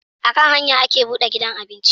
A kan hanya ake buɗe gidan abinci